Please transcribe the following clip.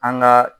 An ka